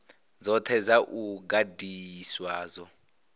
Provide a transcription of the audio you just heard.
dzothe dza u gandiswa dzo